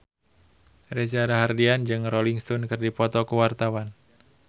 Reza Rahardian jeung Rolling Stone keur dipoto ku wartawan